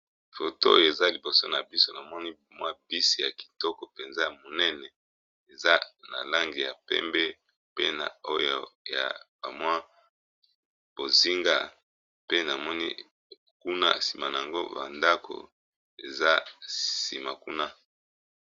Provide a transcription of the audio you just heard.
Foto oyo eza liboso na biso na moni mwa bus ya kitoko mpenza ya monene eza na langi ya pembe pe na oyo ya ba mwa bozinga, pe na moni kuna nsima na yango ba ndako eza nsima kuna.